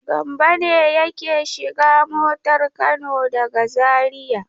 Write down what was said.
Gambo ne yake shiga motar Kano daga Zariya.